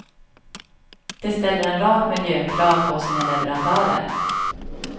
De ställer en rad miljökrav på sina leverantörer.